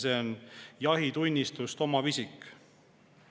See on jahitunnistust omav isik.